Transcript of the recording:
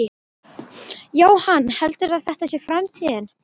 Jóhann: Heldurðu að þetta sé framtíðin?